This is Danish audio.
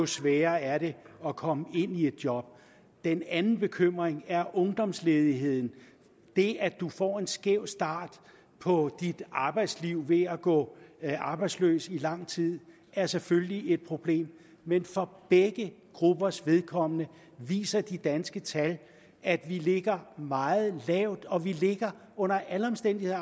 sværere er det at komme ind i et job den anden bekymring er ungdomsledigheden det at du får en skæv start på dit arbejdsliv ved at gå arbejdsløs i lang tid er selvfølgelig et problem men for begge gruppers vedkommende viser de danske tal at vi ligger meget lavt og vi ligger under alle omstændigheder